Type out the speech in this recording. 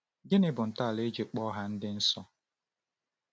Gịnị bụ ntọala e ji kpọọ ha ndị nsọ?